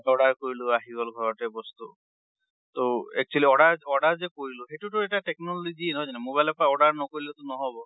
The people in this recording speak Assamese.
order কৰিলো আহি গল ঘৰতে বস্তু। ট actually order~ order যে কৰিলো, সেইটোতো এটা technology য়ে, নহয় জানো? mobile ৰ পৰা order নকৰিলে টো নহব।